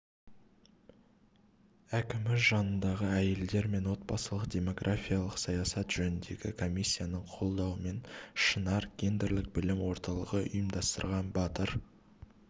әкімі жанындағы әйелдер мен отбасылық-демографиялық саясат жөніндегі комиссияның қолдауымен шынар гендерлік білім орталығы ұйымдастырған батыр